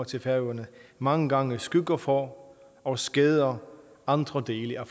til færøerne mange gange skygger for og skader andre dele af